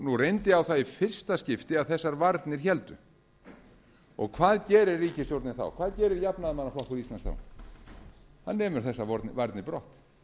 nú reyndi á það í fyrsta skipti að þessar varnir héldu hvað gerir ríkisstjórnin þá hvað gerir jafnaðarmannaflokkur íslands þá hann nemur þessar varnir brott